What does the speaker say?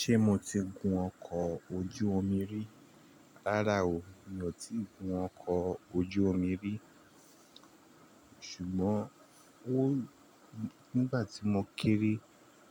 Ṣé mo ti gun ọkọ̀ ojú omi rí? Rárá o, mi ò tí ì gun ọkọ̀ ojú omi rí. Ṣùgbọ́n ó nígbà tí mo kéré